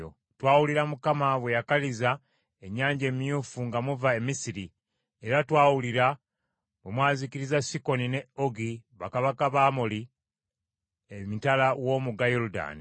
Twawulira Mukama bwe yakaliza ennyanja emyufu nga muva e Misiri era twawulira bwe mwazikiriza Sikoni ne Ogi bakabaka b’Abamoli emitala w’omugga Yoludaani.